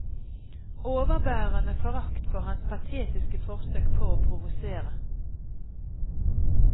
Overbærende forakt for hans patetiske forsøk på å provosere.